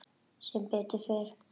Sem betur fer?